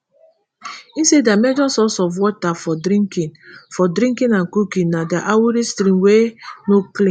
e say dia major source of water for drinking for drinking and cooking na di awuri stream wey no clean